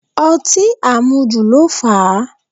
Ọtí àmujù ló fà á